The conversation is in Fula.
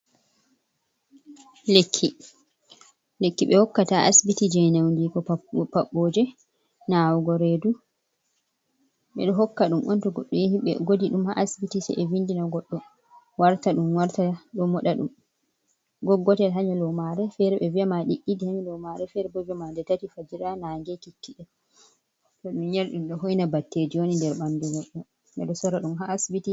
Lekki, lekki ɓe hokkata ha asbiti je nyaundigu paɓɓoje, nawugo redu, ɓeɗo hokka ɗum on to goɗɗo yahi ɓe godi ɗum ha asbiti se ɓe vindina goɗɗo warta, ɗum warta ɗo moɗa ɗum, goggotel ha nyalomare, fere ɓe viya ma ɗiɗi ɗi ha nyalomare, fere bo ɓe viyama nde tati fajira, nange, kikkiɗe, to ɗum yari ɗum ɗo hoina batteje woni nder ɓanɗu goɗɗo, ɓeɗo sora ɗum ha asbiti.